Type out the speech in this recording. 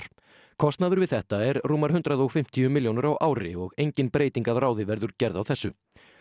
kostnaður við þetta er rúmar hundrað og fimmtíu milljónir á ári og engin breyting að ráði verður gerð á þessu